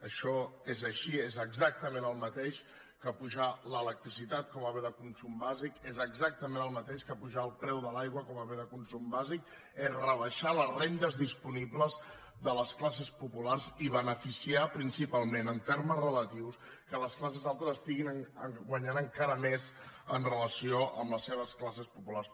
això és així és exactament el mateix que apujar l’electricitat com a bé de consum bàsic és exactament el mateix que apujar el preu de l’aigua com a bé de consum bàsic és rebaixar les rendes disponibles de les classes populars i beneficiar principalment en termes relatius que les classes altes estiguin guanyant encara més en relació amb les seves classes populars